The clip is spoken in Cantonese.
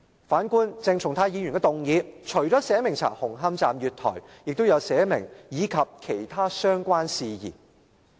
反觀鄭松泰議員的議案，除了寫明調查紅磡站月台，還寫明"以及其他相關事宜"。